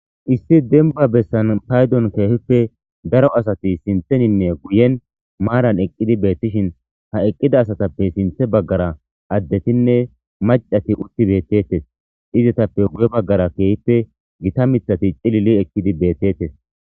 Issi dembba bessan paydon keehippe daro asti sinththeninne guyen maaran eqidi bettishein ha eqqida asatappe sinththe baggara addetinne macati utti bettetes izetappe guye baggara keehippe gita miththati cilili eqidii betetes